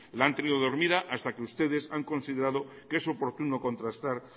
la han tenido dormida hasta que ustedes han considera que es oportuno contrastar